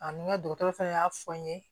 A ni n ka dɔgɔtɔrɔ fɛnɛ y'a fɔ n ye